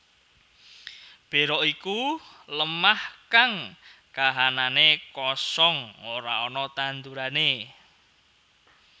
Bera iku lemah kang kahananné kosong ora ana tandurané